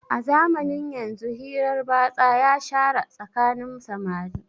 A zamanin yanzu hirar batsa ya shara tsakanin samari